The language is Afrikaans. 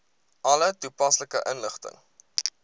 alle toepaslike inligting